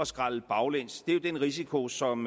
skrælle baglæns det er den risiko som